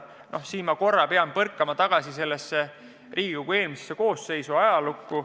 Noh, siin pean ma korra hüppama tagasi Riigikogu eelmisesse koosseisu, ajalukku.